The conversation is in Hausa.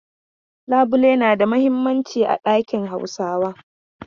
Labulai na da muhimmanci a dakin Hausawa.